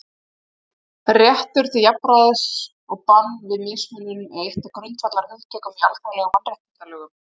Réttur til jafnræðis og bann við mismunun er eitt af grundvallarhugtökum í alþjóðlegum mannréttindalögum.